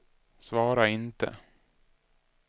svara inte